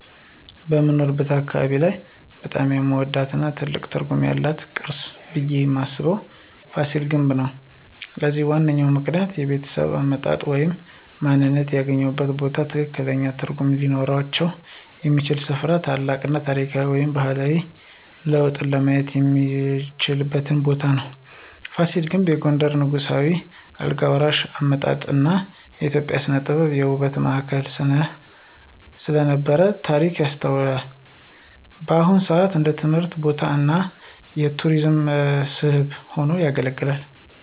በምኖርበት አካባቢ ላይ በጣም የምወደው እና ትልቅ ትርጉም ያለው ቅርስ ብየ ማስበው የፋሲል ግንብ ነው። ለዚህም ዋነኛ ምክንያቶች -የቤተሰብ አመጣጥ ወይም ማንነትዎ የሚገናኙበት ቦታዎች ከፍተኛ ትርጉም ሊኖራቸው የሚችል ሥፍራ እና ታላቅ የታሪክ ወይም ባህላዊ ለውጥን ለማየት የሚቻልበት ቦታ ነው። ፋሲል ግንብ የጎንደርን ንጉሳዊ የአልጋ ወራሽ አመጣጥ እና የኢትዮጵያ ሥነ-ጥበብ የውበት ማዕከል ስለነበረ ታሪክ ያስታውሳል። በአሁን ሰአት እንደ ትምህርት ቦታ እና የቱሪስት መስህብ ሆኖ ያገለግላል።